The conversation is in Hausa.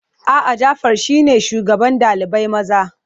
A'a, Jafar shine shugaban ɗalibai maza.